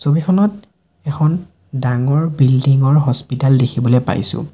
ছবিখনত এখন ডাঙৰ বিল্ডিংঙ ৰ হস্পিতাল দেখিবলৈ পাইছোঁ।